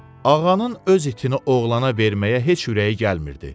Ağanın öz itini oğlana verməyə heç ürəyi gəlmirdi.